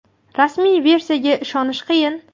Rasmiy versiyaga ishonish qiyin.